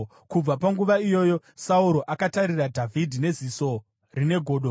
Kubva panguva iyoyo Sauro akatarira Dhavhidhi neziso rine godo.